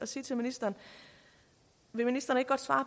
sige til ministeren vil ministeren ikke godt svare